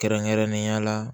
Kɛrɛnkɛrɛnnenya la